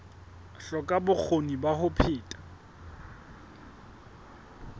hloka bokgoni ba ho phetha